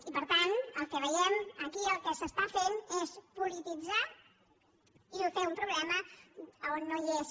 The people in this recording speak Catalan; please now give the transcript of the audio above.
i per tant el que veiem és que aquí el que es fa és polititzar i fer un problema on no hi és